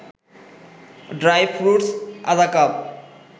dry fruits আধা cup